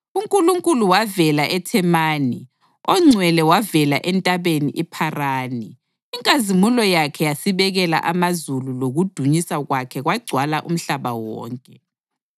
UNkulunkulu wavela eThemani, oNgcwele wavela eNtabeni iPharani. Inkazimulo yakhe yasibekela amazulu lokudunyiswa kwakhe kwagcwala umhlaba wonke.